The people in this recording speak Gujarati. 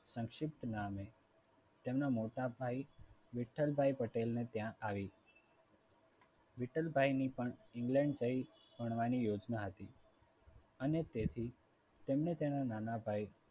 સંક્ષિપ્ત નામે તેમના મોટાભાઈ વિઠ્ઠલભાઈ પટેલ ને ત્યાં આવી. વિઠ્ઠલભાઈ ની પણ england જઈ ભણવાની યોજના હતી. અને તેથી તેમને તેમના નાના ભાઈ